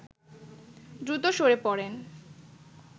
দ্রুত সরে পড়েন